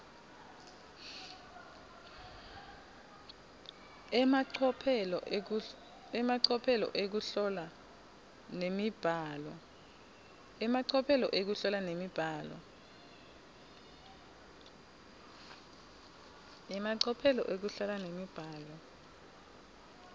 emacophelo ekuhlola nemibhalo